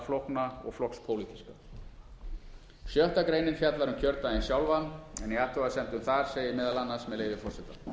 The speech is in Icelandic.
flókna og flokkspólitíska sjötta greinin fjallar um kjördaginn sjálfan en í athugasemdum þar segir meðal annars með leyfi forseta